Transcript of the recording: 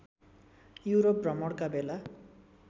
Europe भ्रमणका बेला